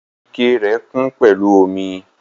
Ikẹ rẹ kun pẹlu omi.